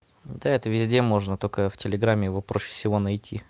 да это везде можно только в телеграме его проще всего найти